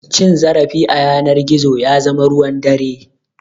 Cin zarafi a yanar gizo ya zama ruwan dare.